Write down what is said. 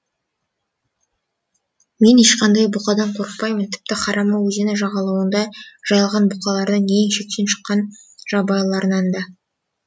мен ешқандай бұқадан қорықпаймын тіпті харама өзені жағалауында жайылған бұқалардың ең шектен шыққан жабайыларынан да